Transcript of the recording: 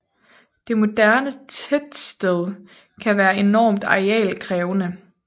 Det moderne tettsted kan være enormt arealkrævende